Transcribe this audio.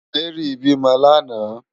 Mary bi mò làná